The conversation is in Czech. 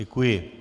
Děkuji.